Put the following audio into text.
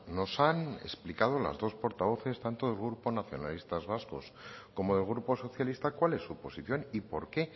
nos han explicado las dos portavoces tanto del grupo nacionalistas vascos como el grupo socialista cuál es su posición y por qué